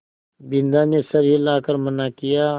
बिन्दा ने सर हिला कर मना किया